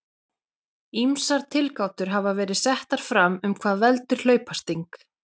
Ýmsar tilgátur hafa verið settar fram um hvað veldur hlaupasting.